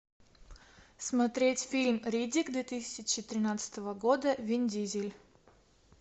смотреть фильм риддик две тысячи тринадцатого года вин дизель